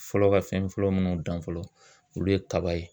Fɔlɔ ka fɛn fɔlɔ munnu dan fɔlɔ olu ye kaba ye